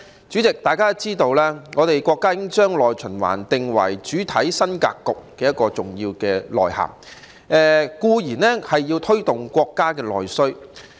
主席，大家都知道，國家已經將內循環定為主體新格局的重要內涵，當然要推動國家的內需。